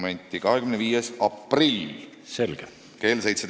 Tähtaeg on 25. aprill kell 17.15.